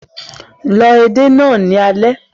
Lọ edé náà ní alẹ́